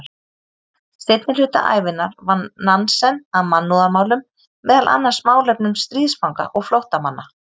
Seinni hluta ævinnar vann Nansen að mannúðarmálum, meðal annars málefnum stríðsfanga og flóttamanna.